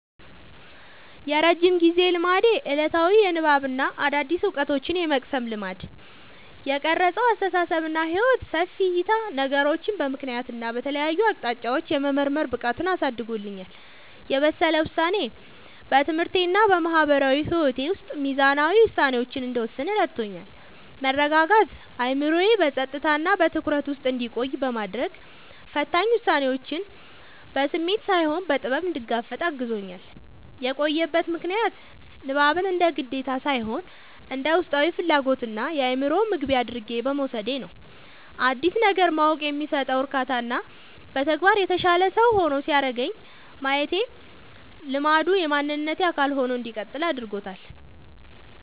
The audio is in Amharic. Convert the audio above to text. የረጅም ጊዜ ልማዴ፦ ዕለታዊ የንባብና አዳዲስ ዕውቀቶችን የመቅሰም ልማድ። የቀረጸው አስተሳሰብና ሕይወት፦ ሰፊ ዕይታ፦ ነገሮችን በምክንያትና በተለያዩ አቅጣጫዎች የመመርመር ብቃትን አሳድጎልኛል። የበሰለ ውሳኔ፦ በትምህርቴና በማህበራዊ ሕይወቴ ውስጥ ሚዛናዊ ውሳኔዎችን እንድወስን ረድቶኛል። መረጋጋት፦ አእምሮዬ በጸጥታና በትኩረት ውስጥ እንዲቆይ በማድረግ፣ ፈታኝ ሁኔታዎችን በስሜት ሳይሆን በጥበብ እንድጋፈጥ አግዞኛል። የቆየበት ምክንያት፦ ንባብን እንደ ግዴታ ሳይሆን እንደ ውስጣዊ ፍላጎትና የአእምሮ ምግብ አድርጌ በመውሰዴ ነው። አዲስ ነገር ማወቅ የሚሰጠው እርካታና በተግባር የተሻለ ሰው ሲያደርገኝ ማየቴ ልማዱ የማንነቴ አካል ሆኖ እንዲቀጥል አድርጎታል።